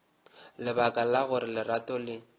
lebaka la gore lerato le